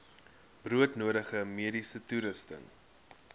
broodnodige mediese toerusting